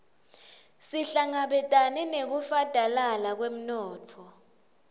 sihlangabetane nekufadalala kwemnotfo